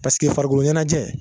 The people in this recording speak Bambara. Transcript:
farikolo ɲɛnajɛ